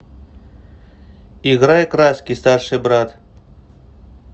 играй краски старший брат